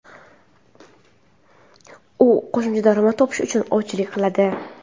U qo‘shimcha daromad topish uchun ovchilik qiladi.